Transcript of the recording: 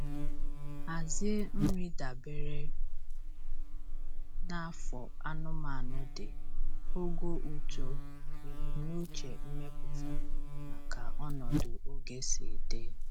Hazie nri dabere na afọ anụmanụ dị, ogo uto, ebumnuche mmepụta, na ka ọnọdụ oge sị dị.